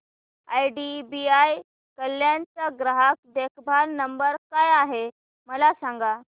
IDBI Kalyan चा ग्राहक देखभाल नंबर काय आहे मला सांगा